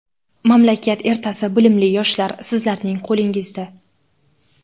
Mamlakat ertasi bilimli yoshlar - sizlarning qo‘lingizda.